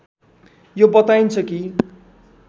यो बताइन्छ कि